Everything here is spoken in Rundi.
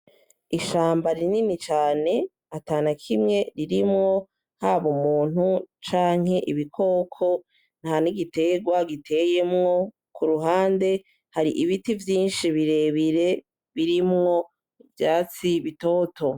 Ishamba rinini cane atanakimwe ririmwo haba umuntu canke ibikoko, nta n'igiterwa giteyemwo, kuruhande hari ibiti vyinshi birebire birimwo ivyatsi bitoto.